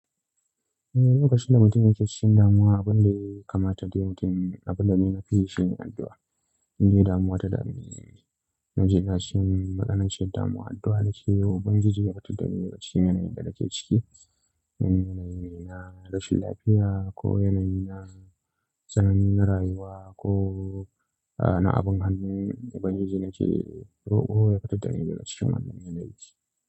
Eh, lokacin da mutumin ya ke cikin damuwa abin da ya kamata da yawancin abin da na fi shi addu'a. Inda damuwa ta dami na ji da shin maƙanan cin damuwa addu'a na ke yawan banji ji ya fita daga cikin yanayin da na ke ciki. Yanayi ne na rashin lafiya ko yanayi na tsanani na rayuwa ko na abin hannun ubangiji na ke roƙo ya fitar daga cikin wannan yanayi.